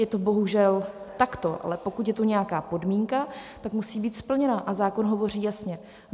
Je to bohužel takto, ale pokud je tu nějaká podmínka, tak musí být splněna, a zákon hovoří jasně.